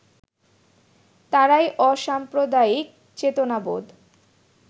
তাঁরাই অসাম্প্রদায়িক চেতনাবোধ